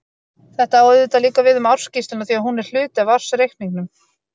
Þetta á auðvitað líka við um ársskýrsluna því að hún er hluti af ársreikningnum.